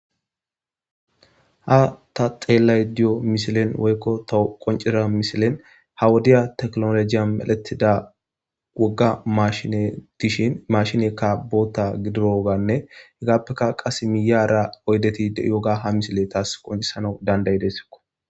Ha ta xeelayda diya misilen woylo taw qoncida misilen ha wodiya tekinolojiyan medhetida woga mashiney dishin mashineyka bootha gidoganne izape qae miyara oydeti de'iyoga haisiley tas qoncisana danda'idesko.